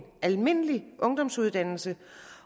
almindelig ungdomsuddannelse